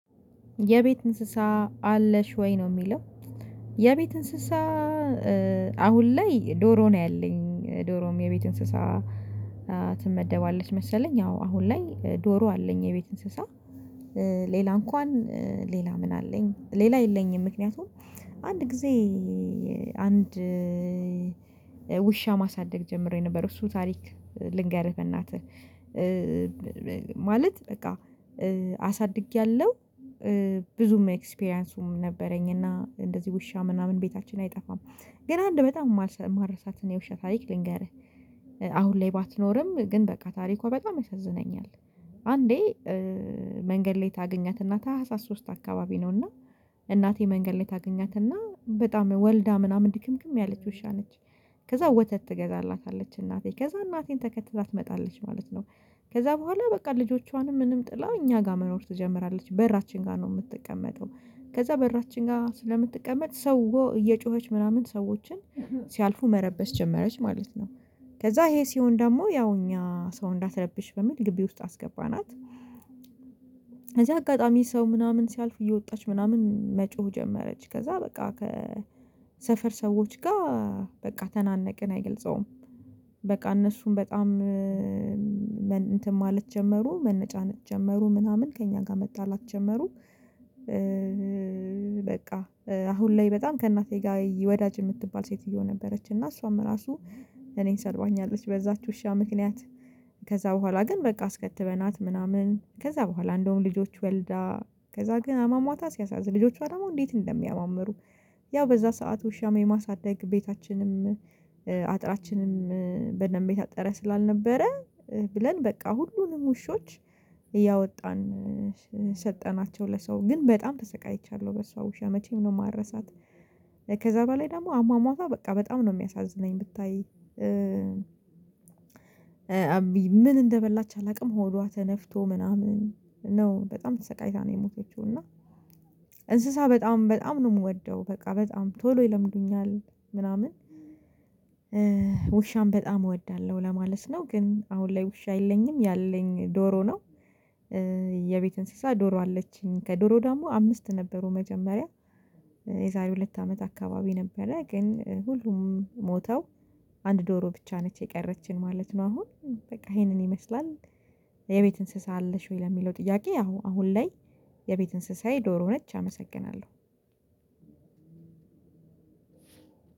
የቤት እንስሳ አለሽ ወይ? ነው የሚለው የቤት እንስሳ አሁን ላይ ዶሮ ነው ያለኝ። ዶሮም የቤት እንስሳ ትመደባለች መሰለኝ አዎ አሁን ላይ ዶሮ አለኝ የቤት እንስሳ። ሌላ እንኳን ሌላ ምን አለኝ ሌላ የለኝም ምክንያቱም አንድ ጊዜ አንድ ውሻ ማሳደግ ጀምሬ ነበር እሱ ታሪክ ልንገርህ በእናትህ ማለት በቃ አሳድጌያለሁ ብዙም ኤክስፒሪያንሱም ነበረኝ እና እንደዚህ ውሻ ምናምን ቤታችን አይጠፋም። ገን አንድ በጣም ማረሳት የውሻ ታሪክ ልንገርህ አሁን ላይ ባትኖርም ግን በቃ ታሪኳ በጣም ያሳዝነኛል አንዴ መንገድ ላይ ታገኛናት ታህሳስ ሶስት አካባቢ ነው እና እናቴ መንገድ ላይ ታገኛትና በጣም ወልዳ ምናምን ድክምክም ያለች ውሻ ነች። ከዛ ወተት ትገዛላታለች እናቴ ከዛ እናቴን ተከትላ ትመጣለች ማለት ነው። ከዛ በኋላ በቃ ልጆቿንም ምንም ጥላ እኛ ጋር መኖር ትጀምራለች በራችን ጋር ነው የምትቀመጠው ከዛ በራችን ጋር ስለምትቀመጥ ሰው እየጮኸች ምናምን ሰዎችን ሲያልፉ መረበሽ ጀመረች ማለት ነው። ከዛ ይሄ ሲሆን ደግሞ ያው እኛ ሰው እንዳትረብሽ በሚል ግቢ ውስጥ አስገባናት። ከዛ አጋጣሚ ሰው ምናምን ሲያልፍ እየወጣች ምናምን መጮህ ጀመረች ከዛ በቃ ከሰፈር ሰዎች ጋር በቃ ተናነቅን አይገልጸውም በቃ እነሱም በጣም እንትን ማለት ጀመሩ መነጫነጥ ጀመሩ ምናምን ከእኛ ጋር መጣላት ጀመሩ በቃ አሁን ላይ በጣም ከእናቴ ጋር ወዳጅ የምትባል ሴትዮ ነበረች እና እሷም እራሱ እኔን ሰድባኛለች በዛች ውሻ ምክንያት ከዛ በኋላ ግን በቃ አስከትበናት ምናምን ከዛ በኋላ እንደውም ልጆች ወልዳ ከዛ ግን አሟሟታ ሲያሳዝን ልጆቿ ደግሞ እንዴት እንደሚያማምሩ ያው በዛ ሰዓት ውሻ የማሳደግ ቤታችንም አጥራችንም በደንብ የታጠረ ስላልነበረ ብለን በቃ ሁሉንም ውሾች እያወጣን ሰጠናቸው ለሰው። ግን በጣም ተሰቃይቻለሁ በሷ ውሻ መቼም ነው ማረሳት። ከዛ በላይ ደግሞ አሟሟቷ በቃ በጣም ነው የሚያሳዝነኝ ብታይ አብይ ምን እንደበላች አላውቅም ሆዷ ተነፍቶ ምናምን ነው በጣም ተሰቃይታ ነው የሞተችው እና እንስሳ በጣም በጣም ነው የምወደው። በቃ በጣም ቶሎ ይለምዱኛል ምናምን ውሻም በጣም እወዳለሁ ለማለት ነው ግን አሁን ላይ ውሻ የለኝም ያለኝ ዶሮ ነው። የቤት እንስሳ ዶሮ አለችኝ። ከዶሮ ደግሞ አምስት ነበሩ መጀመሪያ የዛሬ ሁለት አመት አካባቢ ነበረ ግን ሁሉም ሞተው አንድ ዶሮ ብቻ ነች የቀረችን ማለት ነው። አሁን በቃ ይሄንን ይመስላል። የቤት እንስሳ አለሽ ወይ? ለሚለው ጥያቄ አው አሁን ላይ የቤት እንስሳዬ ዶሮ ነች። አመሰግናለሁ።